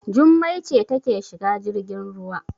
Jummai ce take shiga jirgin ruwa.